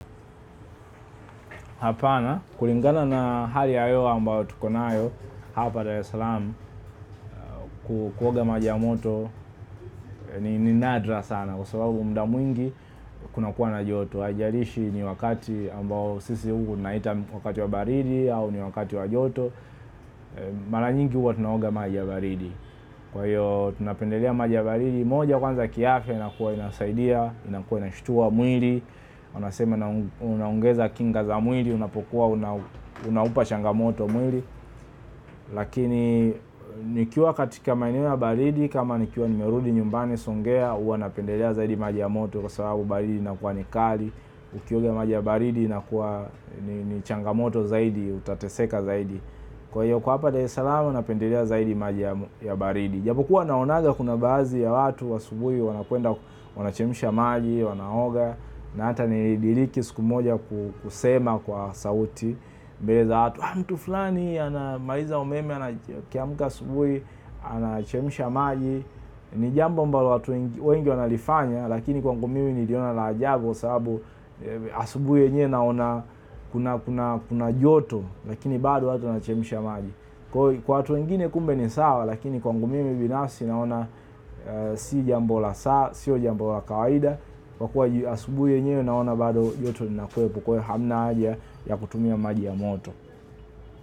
Hapana, kulingana na hali ya hewa tuliyonayo hapa Dar es Salaam. Kuoga maji ya moto ni nadra sana kwa sababu muda mwingi kunakuwa na joto. Haijalishi ni wakati ambao sisi huku tunauita wakati wa baridi au ni wakati wa joto. Mara nyingi huku tunaoga maji ya baridi. Kwa hiyo tunapendelea maji ya baridi, moja kwanza kiafya inakuwa inasaidia, inakuwa inashtua mwili. Wanasema na unaongeza kinga za mwili. Unapokuwa unapata changamoto mwili lakini nikiwa katika maeneo ya baridi kama nikiwa nimerudi nyumbani Songea, huwa napendelea zaidi maji ya moto kwa sababu baridi inakuwa kali. Ukioga maji ya baridi inakuwa ni changamoto zaidi, utateseka zaidi. Kwa hiyo kwa hapa Dar es Salaam unapendelea zaidi maji ya baridi, japokuwa naonaga kuna baadhi ya watu wa asubuhi wanakwenda wanachemsha maji, wanaoga na hata nilidhani siku moja kusema kwa sauti mbele za watu, mtu fulani, anamaliza umeme, akiamka asubuhi, anachemsha maji ni jambo ambalo watu wengi wanalifanya lakini kwangu mimi ninaona la ajabu sababu asubuhi yenyewe naona kuna joto lakini bado watu wanachemsha maji kwa watu wengine kumbe ni sawa lakini kwangu mimi binafsi naona si jambo la kawaida kwa kuwa jua ya asubuhi yenye naona bado joto na kuwa hakuna haja ya kutumia maji ya moto.